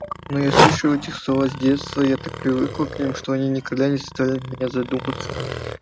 но я слышал эти слова с детства я так привык к ним что они никогда не заставляли меня задуматься